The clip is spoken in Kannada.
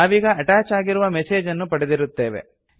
ನಾವೀಗ ಅಟ್ಯಾಚ್ ಆಗಿರುವ ಮೆಸೇಜ್ ಅನ್ನು ಪಡೆದಿರುತ್ತೇವೆ